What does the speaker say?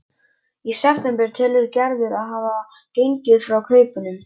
Í september telur Gerður að hún hafi gengið frá kaupunum.